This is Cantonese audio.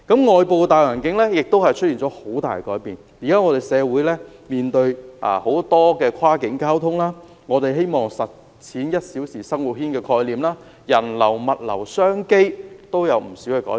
外部的大環境亦出現了很大改變，現時社會面對很多跨境交通問題，人們希望實踐"一小時生活圈"的概念，人流、物流、商機都出現不少改變。